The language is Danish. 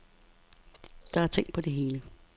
Der er tænkt på det hele.